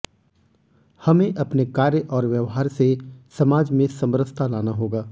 हमें अपने कार्य और व्यवहार से समाज में समरसता लाना होगा